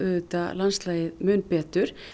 landslagið mun betur